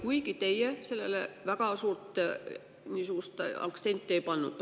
Teie küll sellele praegu väga suur aktsenti ei pannud.